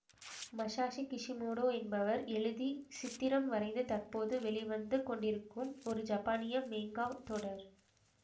Masashi Kishimoto என்பவர் எழுதிச் சித்திரம் வரைந்து தற்போது வெளிவந்து கொண்டிருக்கும் ஒரு ஜப்பானிய மேங்கா தொடர்